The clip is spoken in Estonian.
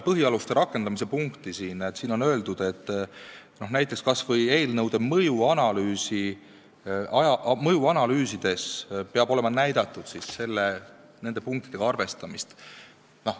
Põhialuste rakendamise punktis on öeldud, et näiteks kas või eelnõude mõjuanalüüsides peab olema ära näidatud nende punktidega arvestamine.